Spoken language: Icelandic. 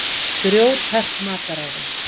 Grjóthart mataræði.